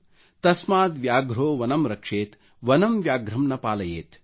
ತಸ್ಮಾದ್ ವ್ಯಾಘ್ರೊ ವನಂ ರಕ್ಷೆತ್ ವನಂ ವ್ಯಾಘ್ರಂ ನ ಪಾಲಯೆತ್||